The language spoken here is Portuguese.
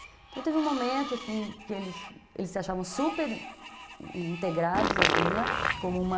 Então teve um momento assim, que eles se achavam super integrados à vila, como uma...